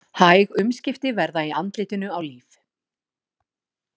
Hæg umskipti verða í andlitinu á Líf.